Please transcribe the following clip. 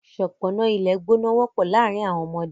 Ṣọpọnna ìlẹ̀gbọ̀nà wọpọ̀ laárìn awọn ọmọdé.